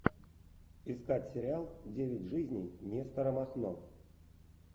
искать сериал девять жизней нестора махно